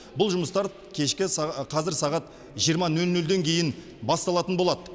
қазір сағат жиырма нөл нөлден кейін басталатын болады